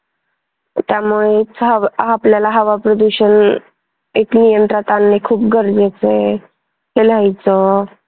त्यामुळे आपल्याला हवा प्रदूषण हेच नियंत्रणात आणणे खूप गरजेच आहे हे लिहायचं.